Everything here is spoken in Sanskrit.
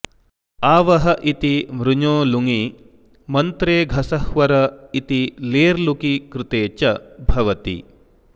आवः इति वृञो लुङि मन्त्रे घसह्वर इति लेर्लुकि कृते च भवति